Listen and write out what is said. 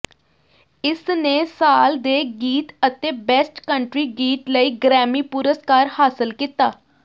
ਇਸਨੇ ਸਾਲ ਦੇ ਗੀਤ ਅਤੇ ਬੈਸਟ ਕੰਟਰੀ ਗੀਤ ਲਈ ਗ੍ਰੈਮੀ ਪੁਰਸਕਾਰ ਹਾਸਲ ਕੀਤਾ